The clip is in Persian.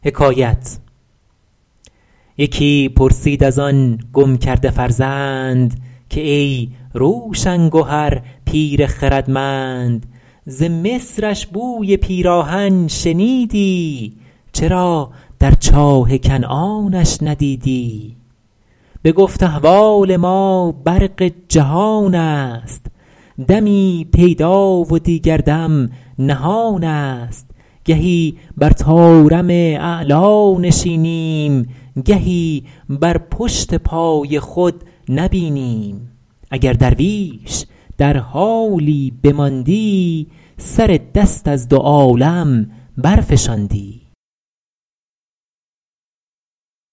یکی پرسید از آن گم کرده فرزند که ای روشن گهر پیر خردمند ز مصرش بوی پیراهن شنیدی چرا در چاه کنعانش ندیدی بگفت احوال ما برق جهان است دمی پیدا و دیگر دم نهان است گهی بر طارم اعلیٰ نشینیم گهی بر پشت پای خود نبینیم اگر درویش در حالی بماندی سر دست از دو عالم برفشاندی